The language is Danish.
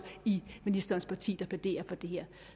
i ministerens parti der plæderer for det her